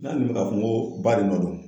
N'a dun bɛ k'a fɔ ko ba de nɔ don.